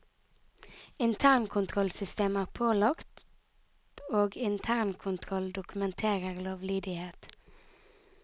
Internkontrollsystemet er pålagt, og internkontroll dokumenterer lovlydighet.